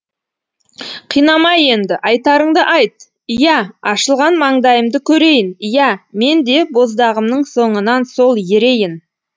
қинама енді айтарыңды айт иә ашылған маңдайымды көрейін иә мен де боздағымның соңынан сол ерейін